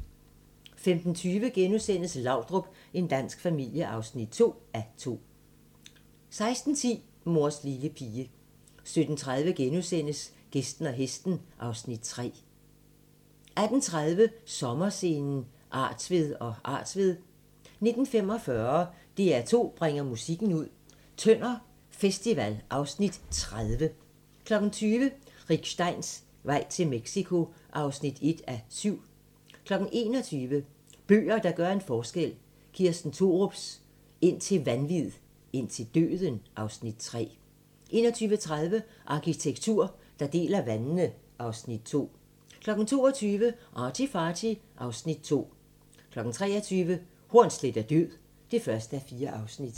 15:20: Laudrup – en dansk familie (2:2)* 16:10: Mors lille pige 17:30: Gæsten og hesten (Afs. 3)* 18:30: Sommerscenen: Artved & Artved 19:45: DR2 bringer musikken ud - Tønder festival (Afs. 30) 20:00: Rick Steins vej til Mexico (1:7) 21:00: Bøger, der gør en forskel - Kirsten Thorups "Indtil vanvid, indtil døden" (Afs. 3) 21:30: Arkitektur der deler vandene (Afs. 2) 22:00: ArtyFarty (Afs. 2) 23:00: Hornsleth er død (1:4)